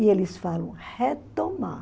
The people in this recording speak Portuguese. E eles falam retomar.